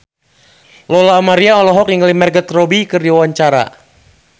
Lola Amaria olohok ningali Margot Robbie keur diwawancara